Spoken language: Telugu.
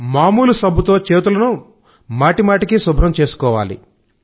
మాములు సబ్బుతో చేతులను మాటిమాటికి శుభ్రం చేసుకోవాలి